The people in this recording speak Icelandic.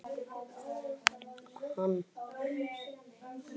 Hann var of önnum kafinn við að reikna útistandandi skuldir.